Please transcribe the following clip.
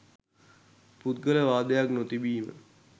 පුද්ගල වාදයක් නොතිබීම